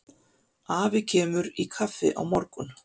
Afi kemur í kaffi á morgun.